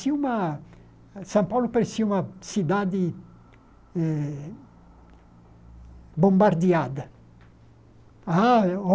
Tinha uma São Paulo parecia uma cidade eh bombardeada. Ah eu ó